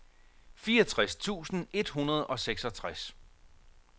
fireogtres tusind et hundrede og seksogtres